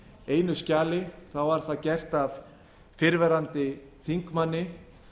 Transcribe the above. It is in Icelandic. einu skjali var það gert af fyrrverandi þingmanni